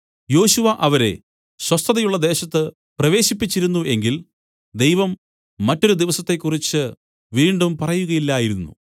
യോശുവ അവരെ സ്വസ്ഥതയുള്ള ദേശത്ത് പ്രവേശിപ്പിച്ചിരുന്നു എങ്കിൽ ദൈവം മറ്റൊരു ദിവസത്തെക്കുറിച്ച് വീണ്ടും പറയുകയില്ലായിരുന്നു